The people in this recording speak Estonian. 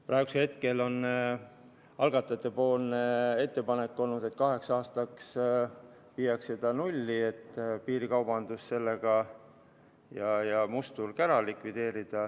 Praegu on algatajate ettepanek viia see kaheks aastaks nulli, et likvideerida sellega piirikaubandus ja must turg.